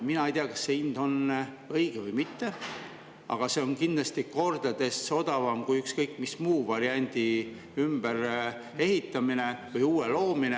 Mina ei tea, kas see hind on õige või mitte, aga see on kindlasti kordades odavam kui ükskõik mis muu variandi ümberehitamine või uue loomine.